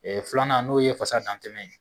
filanan n'o ye fasa dantɛmɛ ye.